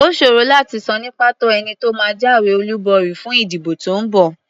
Ó ṣòro láti sọ ní pàtó ẹni tó máa jáwé olúborí fún ìdìbò tó ń bọ̀.